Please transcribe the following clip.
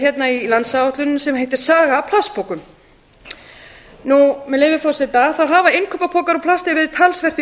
hérna í landsáætluninni sem heitir saga af plastpoka með leyfi forseta hafa innkaupapokar úr plasti verið talsvert í